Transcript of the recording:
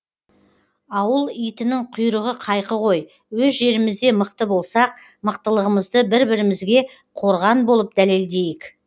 ауыл итінің құйрығы қайқы ғой өз жерімізде мықты болсақ мықтылығымызды бір бірімізге қорған болып дәлелдейік